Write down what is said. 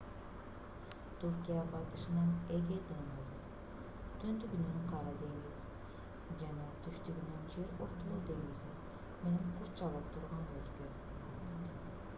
түркия батышынан эгей деңизи түндүгүнөн кара деңиз жана түштүгүнөн жер ортолук деңизи менен курчалып турган өлкө